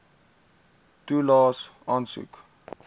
toelaes aansoek